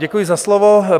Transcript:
Děkuji za slovo.